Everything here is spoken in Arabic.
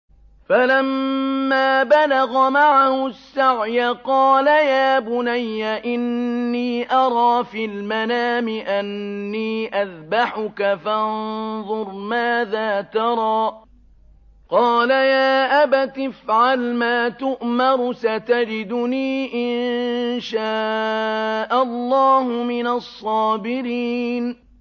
فَلَمَّا بَلَغَ مَعَهُ السَّعْيَ قَالَ يَا بُنَيَّ إِنِّي أَرَىٰ فِي الْمَنَامِ أَنِّي أَذْبَحُكَ فَانظُرْ مَاذَا تَرَىٰ ۚ قَالَ يَا أَبَتِ افْعَلْ مَا تُؤْمَرُ ۖ سَتَجِدُنِي إِن شَاءَ اللَّهُ مِنَ الصَّابِرِينَ